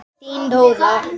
Þín Dóra.